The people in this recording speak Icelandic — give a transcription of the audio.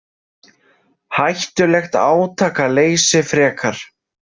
Hættulegt átakaleysi frekar.